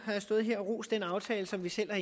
har jeg stået her og rost den aftale som vi selv har